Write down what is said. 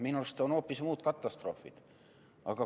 Minu arust on hoopis muud katastroofid.